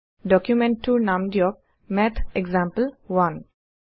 ডুকুমেন্টটোৰ নাম দিয়ক মাথেসাম্পল1